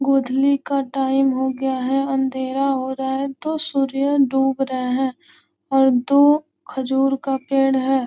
गोधूली का टाइम हो गया है अंधेरा हो रहा है तो सूर्य डूब रहे और दो खजूर का पेड़ है।